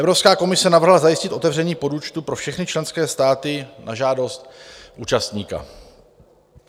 Evropská komise navrhla zajistit otevření podúčtu pro všechny členské státy na žádost účastníka.